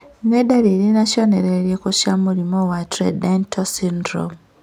Nĩ ndariri na cionereria irĩkũ cia mũrimũ wa Trichodental syndrome?